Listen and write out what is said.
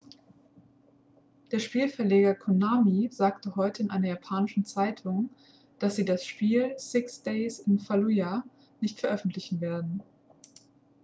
der spielverleger konami sagte heute in einer japanischen zeitung dass sie das spiel six days in fallujah nicht veröffentlichen werden